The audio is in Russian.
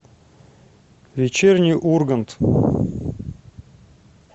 вечерний ургант